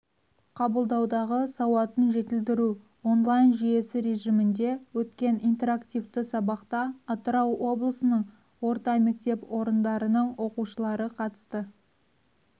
қабылдаудағы сауатын жетілдіру онлайн жүйесі режимінде өткен интерактивті сабақта атырау облысының орта мектеп орындарының оқушылары қатысты